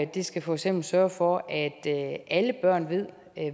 de skal for eksempel sørge for at alle børn ved